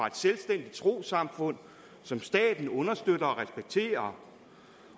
et selvstændigt trossamfund som staten understøtter